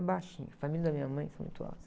Baixinho, a família da minha mãe que foi muito alta.